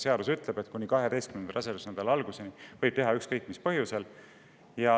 Seadus ütleb, et kuni 12. rasedusnädala alguseni võib seda teha ükskõik mis põhjusel.